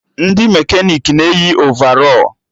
Ndị mekanik na-eyi ovarọl